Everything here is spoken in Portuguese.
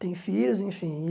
Tem filhos, enfim. E